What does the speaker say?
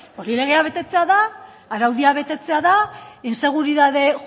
hori legea betetzea da araudia betetzea da inseguritate